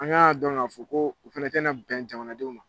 An kan k'a dɔn ka fɔ ko u fɛnɛ tɛna bɛn jamanadenw ma.